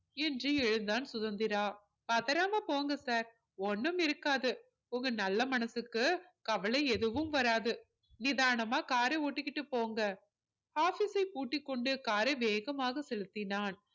என்று எழுந்தான் சுதந்திரா பதறாம போங்க sir ஒண்ணும் இருக்காது உங்க நல்ல மனசுக்கு கவலை எதுவும் வராது நிதானமா car அ ஓட்டிக்கிட்டு போங்க office ஐ பூட்டிக்கொண்டு car ஐ வேகமாக செலுத்தினான்